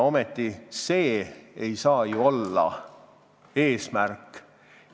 See ei saa ju ometi eesmärk olla.